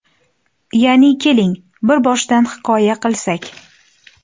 Ya’ni... Keling, bir boshdan hikoya qilsak.